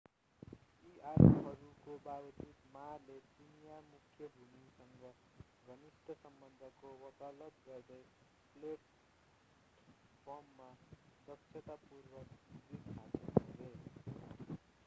यी आरोपहरूको बावजुद ma ले चिनियाँ मुख्य भूमिसँग घनिष्ट सम्बन्धको वकालत गर्दै प्लेटफर्ममा दक्षतापूर्वक जित हासिल गरे